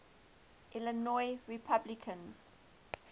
illinois republicans